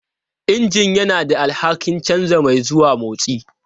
Injin yana da alhakin canza mai zuwa motsi.